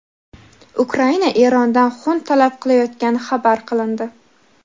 Ukraina Erondan xun talab qilayotgani xabar qilindi.